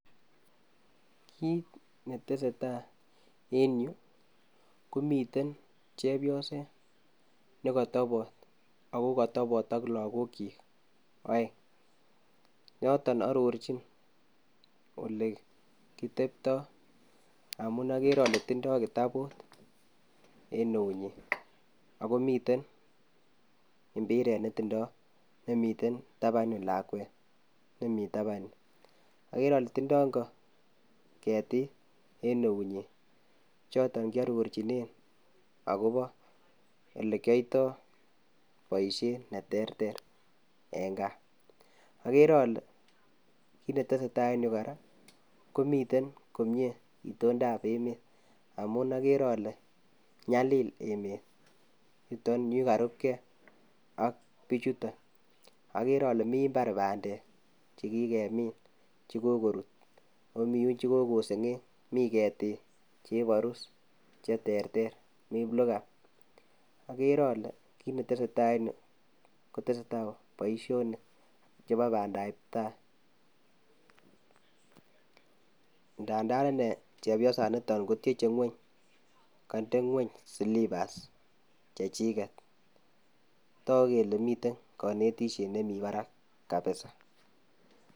Kit netesetai en yuu komiten chepyoset nekotopot ako kotopon ak lokok chik oeng, yoton ororchin ole kitepto amun okere ole tindo kitabu en neuyin ako miten impiret netindo nemiten tapanyuu lakwet nemii tapan yuu okere ole tindo ingo ketik en eunyin choton kiororchinen akopo ole kioito boisiet neterter en gaa, okere ole kit netesetai en yuu koraa komiten komie itondap emet amun okere ole nyalil emet yutok yuu karupgee ak bichutok, okere ole mii imbar pandek kekikemin chekokorut ako mii yun chekokosengeny miketik cheporus cheterter mii iplugam okere ole kit netesetai en yuu kotesetai boishonk chebo pandap tai, ngandan inei chepyosanitok kotyeche ngweny koide ngweny silipas chechiket toku kele miten konetishet nemii barak kabisa.